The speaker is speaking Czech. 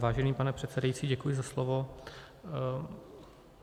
Vážený pane předsedající, děkuji za slovo.